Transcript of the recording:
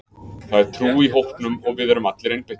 Það er trú í hópnum og við erum allir einbeittir.